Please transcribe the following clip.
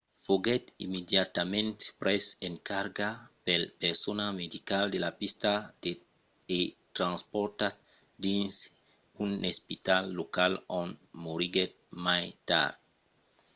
foguèt immediatament pres en carga pel personal medical de la pista e transportat dins un espital local ont moriguèt mai tard